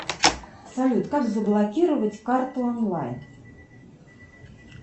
салют как заблокировать карту онлайн